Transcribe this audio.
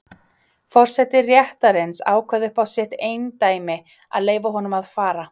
Forseti réttarins ákvað upp á sitt eindæmi að leyfa honum að fara.